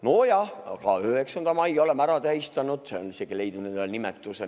No jah, ka 9. mai oleme ära tähistanud, see on isegi leidnud endale nimetuse.